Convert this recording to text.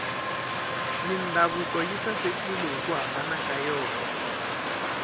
mindhavuko yi sasekile hiku hambana ka yona